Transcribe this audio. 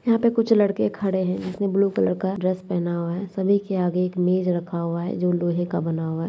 यहां पे कुछ लड़के खड़े है जिसने ब्लू कलर का ड्रेस पहना हुआ है सभी के आगे एक मेज़ रखा हुआ है जो लोहे का बना हुआ है।